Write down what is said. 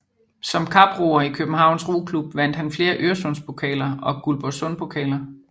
Som kaproer i Københavns Roklub vandt han flere Øresundspokaler og Guldborgsundpokaler